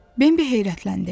Bimbi heyrətləndi.